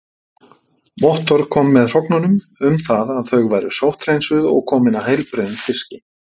Vottorð kom með hrognunum um það að þau væru sótthreinsuð og komin af heilbrigðum fiski.